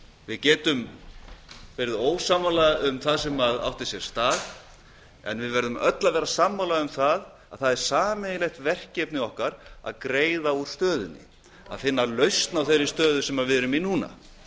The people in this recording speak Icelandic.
við getum verið ósammála um það sem átti sér stað en við verðum öll að vera sammála um það að það er sameiginlegt verkefni okkar að greiða úr stöðunni að finna lausn á þeirri stöðu sem við erum í núna